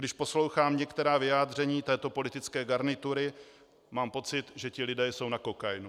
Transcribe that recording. Když poslouchám některá vyjádření této politické garnitury, mám pocit, že ti lidé jsou na kokainu.